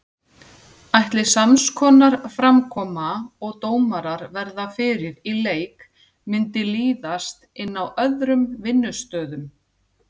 Ætli samskonar framkoma og dómarar verða fyrir í leik myndi líðast inn á öðrum vinnustöðum?